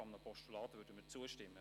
Einem Postulat würden wir zustimmen.